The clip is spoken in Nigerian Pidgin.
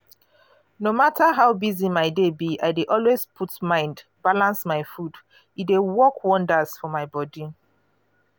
no matter how busy my day be i dey always put mind balance my food. e dey work wonders for my body.